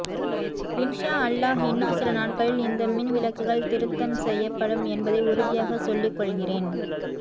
இன்ஷா அல்லாஹ் இன்னும் சில நாட்களில் இந்த மின் விளக்குகள் திருத்தம் செய்யப்படும் என்பதை உறுதியாக சொல்லிக் கொள்கிறேன்